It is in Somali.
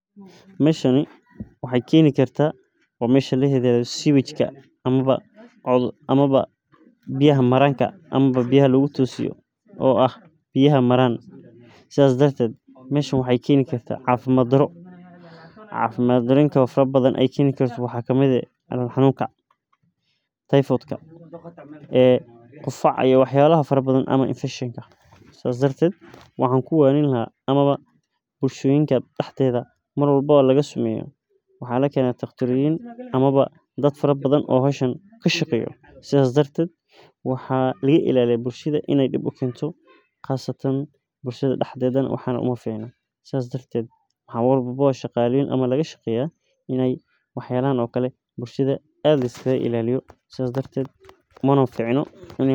Meeshan waxaay keeni kartaa waa meesha biya maraanka oo biyaha maraan waxeey keeni kartaa cafimaad daro sida qufaca faraha badan ama wasaq badan waxaa lakeena daqtar oo kashaqeeya howshan bukshada ayeey dib ukeeni kartaa waa in liska ilaaliyo mana fiicno ini.